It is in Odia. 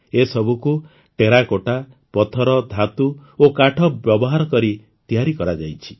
ଏସବୁକୁ ଟେରାକୋଟା ପଥର ଧାତୁ ଓ କାଠ ବ୍ୟବହାର କରି ତିଆରି କରାଯାଇଛି